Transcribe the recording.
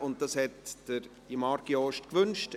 Marc Jost hat dies gewünscht.